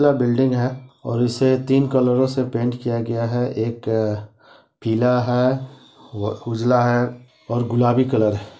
ला building है और उसे तीन कलरों से पेंट किया गया है एक अ पीला है व उजला है और गुलाबी कलर है।